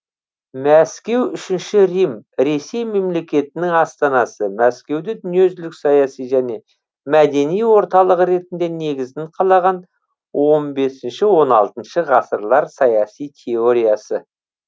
мәскеу үшінші рим ресей мемлекетінің астанасы мәскеуді дүниежүзілік саяси және мәдени орталығы ретінде негізін қалаған он бесінші он алтыншы ғасырлар саяси теориясы